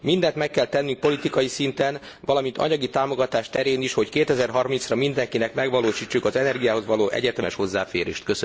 Mindent meg kell tennünk politikai szinten, valamint anyagi támogatás terén is, hogy 2030 ra mindenkinek megvalósítsuk az energiához való egyetemes hozzáférést.